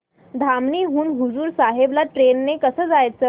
धामणी हून हुजूर साहेब ला ट्रेन ने कसं जायचं